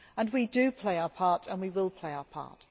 We do play our part and we will play our part.